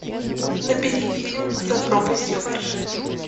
набери фильм за пропастью во ржи